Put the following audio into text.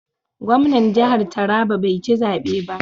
Gwamnan jihar Taraba bai ci zabe ba.